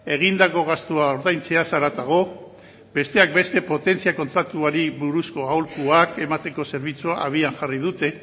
egindako gastua ordaintzeaz haratago besteak beste potentzia kontratuari buruzko aholkuak emateko zerbitzua abian jarri dute